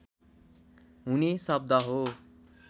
हुने शब्द हो